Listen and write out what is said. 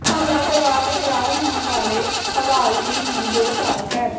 ਹਮਲਾ ਕਰਵਾ ਕੇ ਫ਼ਰਾਰ ਹੋਣ ਵਾਲੇ ਹਵਾਲਾਤੀ ਨੂੰ ਦੋ ਸਾਲ ਕੈਦ